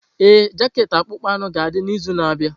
Ee, jaket akpụkpọ anụ ga-adị n'izu na-abịa.